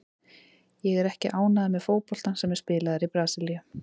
Ég er ekki ánægður með fótboltann sem er spilaður í Brasilíu.